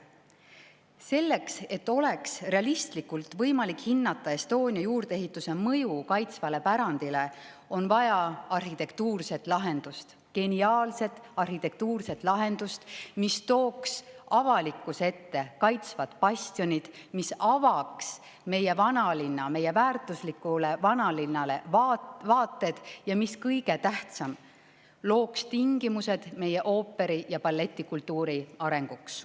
Selleks, et oleks võimalik realistlikult hinnata Estonia juurdeehitise mõju kaitstavale pärandile, on vaja arhitektuurset lahendust, geniaalset arhitektuurset lahendust, mis tooks avalikkuse ette bastionid, avaks vaated meie vanalinnale, meie väärtuslikule vanalinnale, ja mis kõige tähtsam, looks tingimused meie ooperi‑ ja balletikultuuri arenguks.